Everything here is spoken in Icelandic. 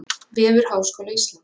Vefur Háskóla Íslands